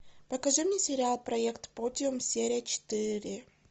покажи мне сериал проект подиум серия четыре